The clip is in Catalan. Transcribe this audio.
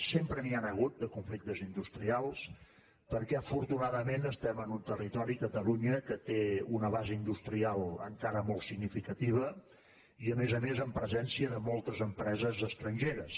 sempre n’hi han hagut de conflictes industrials perquè afortunadament estem en un territori catalunya que té una base industrial encara molt significativa i a més a més amb presència de moltes empreses estrangeres